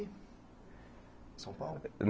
Em São Paulo?